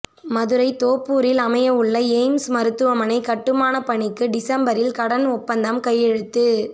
மதுரை தோப்பூரில் அமைய உள்ள எய்ம்ஸ் மருத்துவமனை கட்டுமான பணிக்கு டிசம்பரில் கடன் ஒப்பந்தம் கையெழுத்து